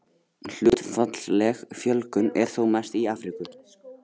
Hlutfallsleg fjölgun er þó mest í Afríku.